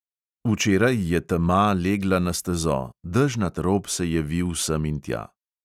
Včeraj je tema legla na stezo, dežnat rob se je vil semintja.